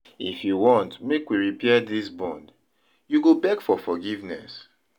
If you want make we repair dis bond, you go beg for forgiveness.